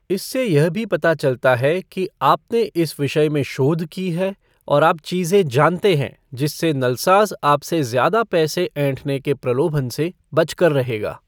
इससे यह भी पता चलता है कि आपने इस विषय में शोध की है और आप चीज़ें जानते हैं, जिससे नलसाज आपसे ज़्यादा पैसे ऐंठने के प्रलोभन से बच कर रहेगा।